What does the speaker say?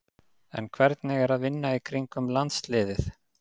En hvernig er að vinna í kringum landsliðið?